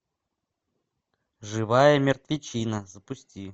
живая мертвечина запусти